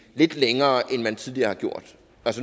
lidt længere end man tidligere har gjort